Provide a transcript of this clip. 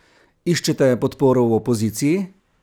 Iščete podporo v opoziciji?